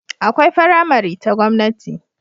Akwai faramari ta gwamnati